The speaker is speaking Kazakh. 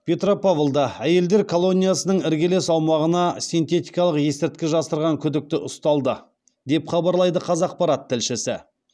петропавлда әйелдер колониясының іргелес аумағына синтетикалық есірткі жасырған күдікті ұсталды деп хабарлайды қазақпарат тілшісі